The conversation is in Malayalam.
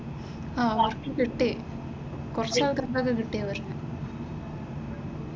ആഹ് അവർക്കു കിട്ടി കുറച്ചു ആൾകാര്ക്കൊക്കെ കിട്ടി അവർക്ക്.